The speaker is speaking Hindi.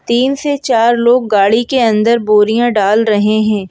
तीन से चार लोग गाड़ी के अंदर बोरियां डाल रहे हैं।